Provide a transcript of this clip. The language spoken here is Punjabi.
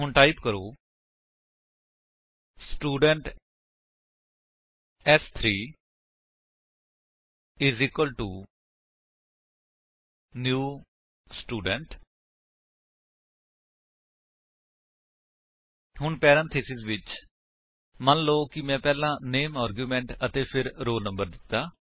ਹੁਣ ਟਾਈਪ ਕਰੋ ਸਟੂਡੈਂਟ ਸ3 ਨਿਊ ਸਟੂਡੈਂਟ 160 ਹੁਣ ਪੈਰੇਂਥੀਸਿਸ ਵਿੱਚ ਮੰਨਲੋ ਕਿ ਮੈਂ ਪਹਿਲਾਂ ਨਾਮੇ ਆਰਗਿਉਮੇਂਟ ਅਤੇ ਫਿਰ ਰੋਲ ਨੰਬਰ ਦਿੱਤਾ